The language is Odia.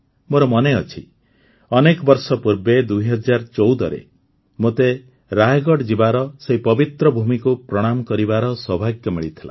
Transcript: ମୋର ମନେ ଅଛି ଅନେକ ବର୍ଷ ପୂର୍ବେ ୨୦୧୪ରେ ମୋତେ ରାୟଗଢ଼ ଯିବାର ସେହି ପବିତ୍ର ଭୂମିକୁ ପ୍ରଣାମ କରିବାର ସୌଭାଗ୍ୟ ମିଳିଥିଲା